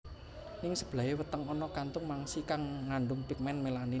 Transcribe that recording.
Ning sebelahé weteng ana kantung mangsi kang ngandung pigmen melanin